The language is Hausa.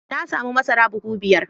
Na samu masara buhu biyar.